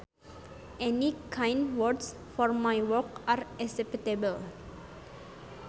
Any kind words for my work are acceptable